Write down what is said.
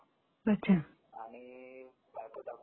अच्छा